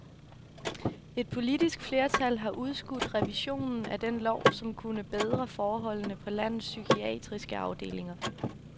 Et politisk flertal har udskudt revisionen af den lov, som kunne bedre forholdene på landets psykiatriske afdelinger.